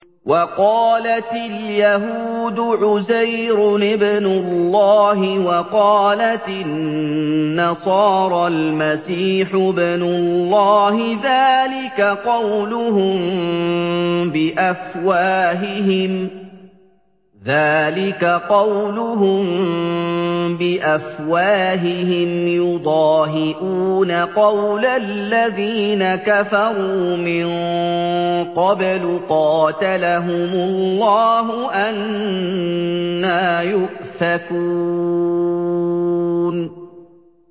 وَقَالَتِ الْيَهُودُ عُزَيْرٌ ابْنُ اللَّهِ وَقَالَتِ النَّصَارَى الْمَسِيحُ ابْنُ اللَّهِ ۖ ذَٰلِكَ قَوْلُهُم بِأَفْوَاهِهِمْ ۖ يُضَاهِئُونَ قَوْلَ الَّذِينَ كَفَرُوا مِن قَبْلُ ۚ قَاتَلَهُمُ اللَّهُ ۚ أَنَّىٰ يُؤْفَكُونَ